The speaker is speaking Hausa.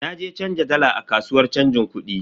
Na je canza dala a kasuwan chanjin kudi.